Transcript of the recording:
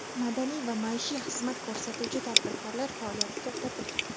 madaniy va maishiy xizmat ko‘rsatuvchi tadbirkorlar faoliyati to‘xtatilgan.